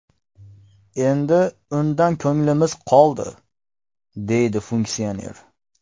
Endi undan ko‘nglimiz qoldi”, deydi funksioner.